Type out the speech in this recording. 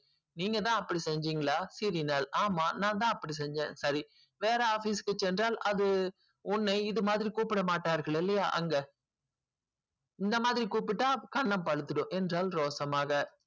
நீங்க தான் அப்டி செஞ்சிங்கள ஆமா நாதன் அப்டி செஞ்சன் வேற office க்கு சென்றால் அது இது மாதிரி உன்னை கூப்பிடமாட்டார்கள் இல்லையா இந்த மாதிரி கூப்பிட கன்னம் பழு திடும் ரோஷமாக